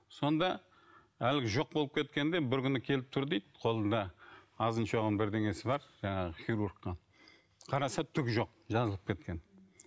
сонда әлгі жоқ болып кеткенде бір күні келіп тұр дейді қолында азын шоғын бірдеңесі бар жаңағы хирургқа қараса түк жоқ жазылып кеткен